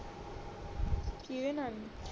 ਕੀਹਦੇ ਨਾਲ